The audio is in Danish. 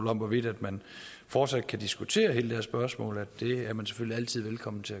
om hvorvidt man fortsat kan diskutere hele det her spørgsmål at det er man selvfølgelig altid velkommen til